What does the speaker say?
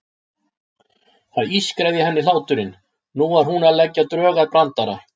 Það ískraði í henni hláturinn, nú var hún að leggja drög að brandara.